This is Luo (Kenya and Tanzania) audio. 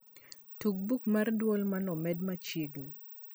tug buk mar a duol maneomedi machiegni